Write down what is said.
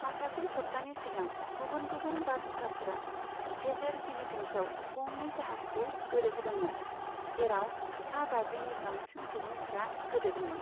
माखासे सब्तानि सिगां, गुबुन गुबुन बारहुंखाफोरा गेजेर फिलिपिन्सआव गंनै जाहाजखौ गोदोहोदोंमोन, जेराव सा बाजिनि बांसिन सुबुंफोरा गोदोदोंमोन।